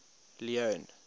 leone